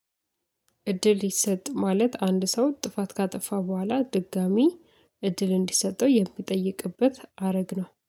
እድል ይሰጥ ማለት አንድ ሰው ጥፋት ካጠፋ በኋላ ድጋሚ እድል እንዲሰጠው የሚጠይቅበት አረግ ነው